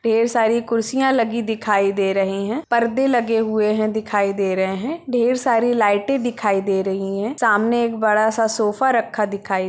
ढेर सारी कुर्सियां लगी दिखाई दे रहे हैं पर्दे लगे हुए है दिखाई दे रहे हैं ढेर सारी लाइटें दिखाई दे रही हैं सामने एक बड़ा-सा सोफा रक्खा दिखाई--